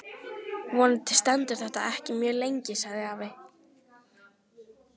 Vonandi stendur þetta ekki mjög lengi sagði afi.